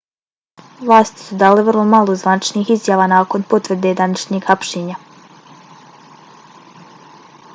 vlasti su dale vrlo malo zvaničnih izjava nakon potvrde današnjeg hapšenja